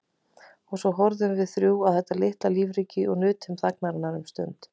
Og svo horfðum við þrjú á þetta litla lífríki og nutum þagnarinnar um stund.